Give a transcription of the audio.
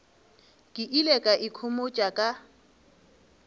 ke ile ka ikhomotša ka